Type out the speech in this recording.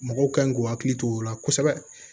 Mɔgɔw kan k'u hakili to o la kosɛbɛ